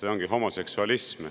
See ongi homoseksualism.